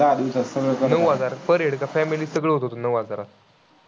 Per head का? family सगळं होतं नऊ हजारात?